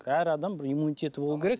әр адам бір иммунитеті болуы керек